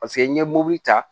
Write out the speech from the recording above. Paseke n'i ye mobili ta